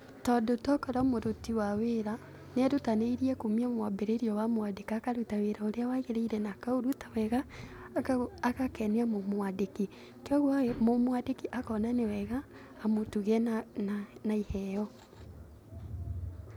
Tondũ to korwo mũruti wa wĩra nĩerutanĩirie kumia o mwambĩrĩrĩa wamwandĩka, akaruta wĩra ũrĩa wagĩrĩire na akaũruta wega, agakenia mũmwandĩki, kwoguo ĩ mũmwandĩki akona nĩ wega amũtuge na na iheo.